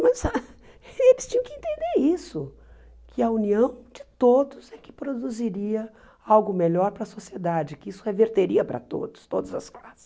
Mas ah eles tinham que entender isso, que a união de todos é que produziria algo melhor para a sociedade, que isso reverteria para todos, todas as classes.